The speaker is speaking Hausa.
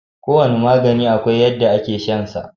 Kowane magani akwai yadda ake shan sa.